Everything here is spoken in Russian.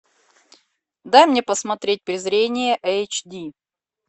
дай мне посмотреть презрение эйч ди